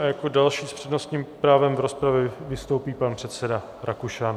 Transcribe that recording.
A jako další s přednostním právem v rozpravě vystoupí pan předseda Rakušan.